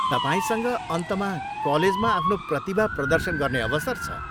तपाईँसँग अन्तमा कलेजमा आफ्नो प्रतिभा प्रदर्शन गर्ने अवसर छ।